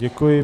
Děkuji.